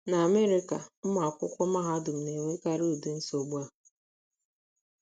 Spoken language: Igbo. N’Amerịka, ụmụ akwụkwọ mahadum na - enwekarị ụdị nsogbu a.